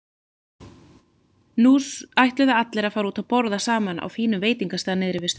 Nú ætluðu allir að fara út að borða saman á fínum veitingastað niðri við ströndina.